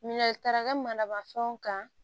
Minɛn taara ka manabafɛnw kan